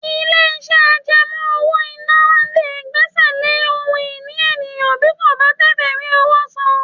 Ilé-iṣẹ́ àjẹmọ́ owó-ìná lè gbẹ́sẹ̀ lé ohun ìní èèyàn bí kò bá tètè rí owó san